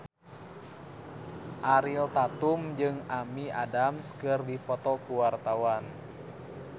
Ariel Tatum jeung Amy Adams keur dipoto ku wartawan